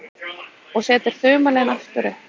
Og setur þumalinn aftur upp.